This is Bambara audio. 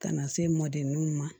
Ka na se mɔdenninw ma